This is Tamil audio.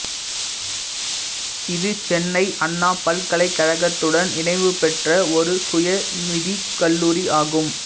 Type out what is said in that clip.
இது சென்னை அண்ணா பல்கலைக்கழகத்துடன் இணைவுபெற்ற ஒரு சுய நிதிக் கல்லூரி ஆகும்